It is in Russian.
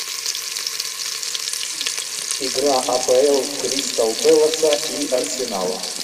игра апл кристал пэласа и арсенала